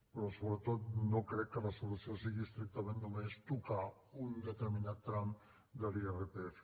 però sobretot no crec que la solució sigui estrictament només tocar un determinat tram de l’irpf